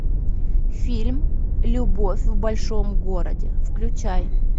фильм любовь в большом городе включай